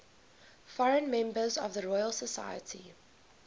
foreign members of the royal society